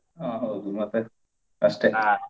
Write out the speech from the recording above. ಅಹ್ ಹೌದು ಮತ್ತೆ .